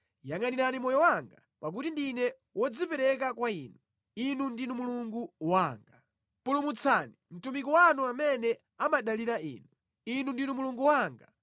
Yangʼanirani moyo wanga, pakuti ndine wodzipereka kwa Inu. Inu ndinu Mulungu wanga; pulumutsani mtumiki wanu amene amadalira Inu. Inu ndinu Mulungu wanga.